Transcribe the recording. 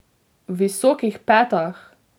V visokih petah!